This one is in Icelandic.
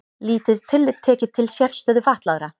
Lítið tillit tekið til sérstöðu fatlaðra